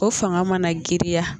O fanga mana giriya